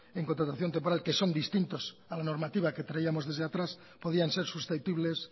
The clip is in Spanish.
en contratación temporal que son distintos a la normativa que traíamos desde atrás podían ser susceptibles